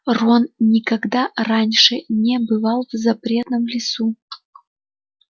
рон никогда раньше не бывал в запретном лесу